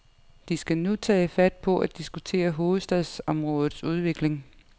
De skal nu tage fat på at diskutere hovedstadsområdets udvikling.